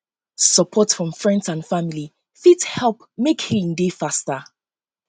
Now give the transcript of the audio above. sopport from friends and family fit mek healing dey faster um